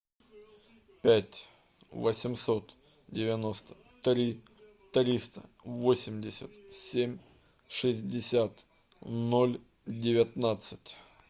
пять восемьсот девяносто три триста восемьдесят семь шестьдесят ноль девятнадцать